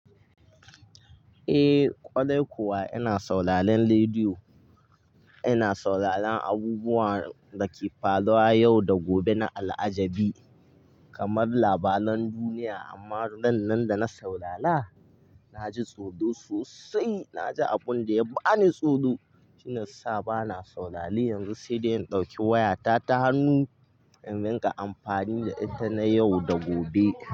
Eh kwarai kuwa ina sauraron rediyo. Ina sauraron abubuwan da ke faruwa yau da gobe na al'ajabi kamar labaran duniya. Amma ran nan da na saurara na ji tsoro sosai. Na ji abun da ya bani tsoro shi ya sa ba na saurare yanzu sai dai in ɗauki wayata ta hannu in rika amfani da ita na yau da gobe.